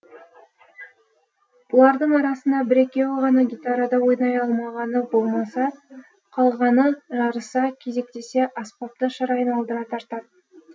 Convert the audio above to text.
бұлардың арасында бір екеуі ғана гитарада ойнай алмағаны болмаса қалғаны жарыса кезектесе аспапты шыр айналдыра тартатын